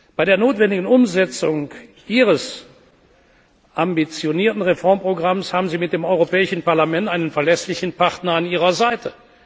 Bei der notwendigen Umsetzung Ihres ambitionierten Reformprogramms haben Sie mit dem Europäischen Parlament einen verlässlichen Partner an Ihrer Seite.